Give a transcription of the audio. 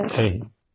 जय हिन्द